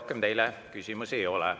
Rohkem teile küsimusi ei ole.